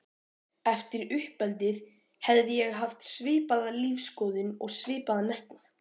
Eftir uppeldið hefði ég haft svipaða lífsskoðun og svipaðan metnað.